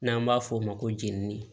N'an b'a f'o ma ko jenini